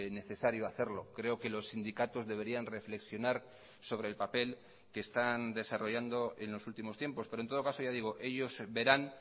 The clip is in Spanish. necesario hacerlo creo que los sindicatos deberían reflexionar sobre el papel que están desarrollando en los últimos tiempos pero en todo caso ya digo ellos verán